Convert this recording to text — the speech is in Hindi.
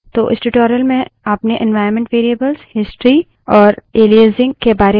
तो इस tutorial में आपने एन्वाइरन्मन्ट variables history और एलाइजिंग के बारे में सीखा